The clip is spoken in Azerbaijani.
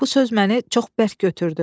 Bu söz məni çox bərk götürdü.